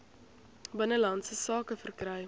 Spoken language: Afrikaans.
binnelandse sake verkry